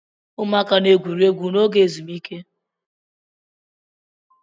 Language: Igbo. Ụmụaka na-egwuri egwu n'oge ezumike.